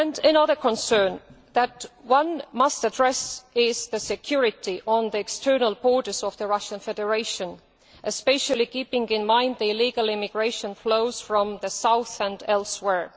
Another concern that one must address is security on the external borders of the Russian Federation, especially keeping in mind the illegal immigration flows from the south and elsewhere.